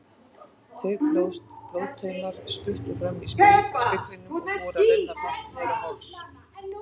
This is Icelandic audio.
Tveir blóðtaumar spruttu fram í speglinum og fóru að renna hratt niður á háls.